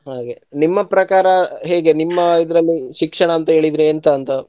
ಹಾಗೆ. ನಿಮ್ಮ ಪ್ರಕಾರ ಹೇಗೆ ನಿಮ್ಮ ಇದ್ರಲ್ಲಿ ಶಿಕ್ಷಣ ಅಂತ ಹೇಳಿದ್ರೆ ಎಂತಂತ?